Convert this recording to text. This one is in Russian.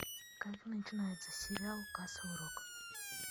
как начинается сериал касл рок